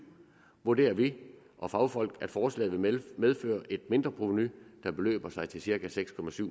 vurderer vi og fagfolk at forslaget vil medføre et mindre provenu der beløber sig til cirka seks